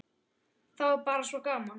Þá er bara svo gaman.